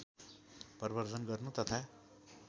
प्रबर्द्धन गर्नु तथा